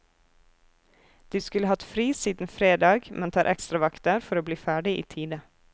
De skulle hatt fri siden fredag, men tar ekstravakter for å bli ferdig i tide.